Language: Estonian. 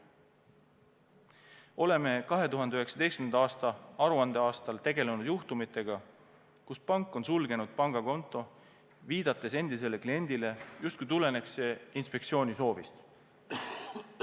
Oleme 2019. aasta aruandeaastal tegelenud juhtumitega, kus pank on sulgenud pangakonto, viidates endisele kliendile, et see justkui tulenes inspektsiooni soovist.